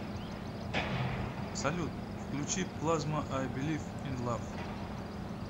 салют включи плазма ай белив ин лав